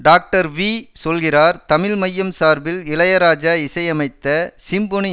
doctor V சொல்கிறார் தமிழ் மையம் சார்பில் இளையராஜா இசையமைத்த சிம்பொனி